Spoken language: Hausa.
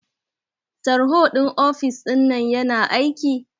Tarho ɗin ofis ɗinnan yana aiki?